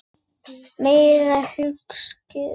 Meira hyskið!